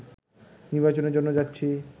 নির্বাচনের জন্য যাচ্ছি